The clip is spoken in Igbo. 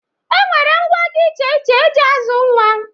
E nwere ngwá dị iche iche e ji azụ nwa.